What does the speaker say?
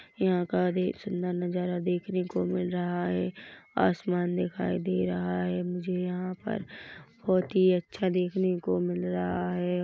यहाँ का देख सुंदर नजारा देखने को मिल रहा है आसमान दिखाई दे रहा है मुझे यहाँ पर बहुत ही अच्छा देखने को मिल रहा है।